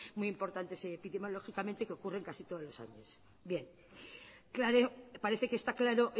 muy importantes que ocurren casi todos los años